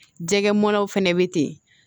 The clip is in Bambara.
Jɛgɛ mɔnaw fɛnɛ bɛ ten